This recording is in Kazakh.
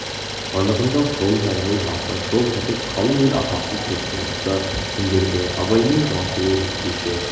анығында сол жаяу-жалпы жоқ-жітік қалың ел атақсыз көптің осы күндерде абаймен жыласуы өзгеше